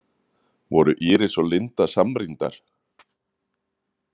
Voru Íris og Linda samrýndar?